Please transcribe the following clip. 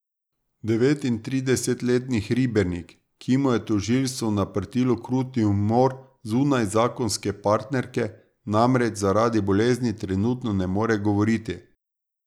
Devetintridesetletni Hribernik, ki mu je tožilstvo naprtilo kruti umor zunajzakonske partnerke, namreč zaradi bolezni trenutno ne more govoriti.